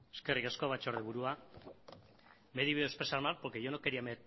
eskerrik asko batzordeburua me he debido expresar mal porque yo no quería